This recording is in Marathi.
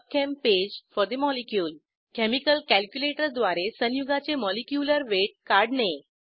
pub चेम पेज फोर ठे मॉलिक्युल केमिकल कॅल्क्युलेटर द्वारे संयुगाचे मॉलिक्युलर वेट काढणे